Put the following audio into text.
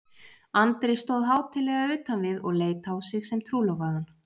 Andri stóð hátíðlega utan við og leit á sig sem trúlofaðan.